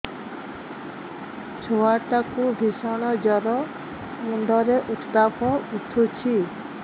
ଛୁଆ ଟା କୁ ଭିଷଣ ଜର ମୁଣ୍ଡ ରେ ଉତ୍ତାପ ଉଠୁଛି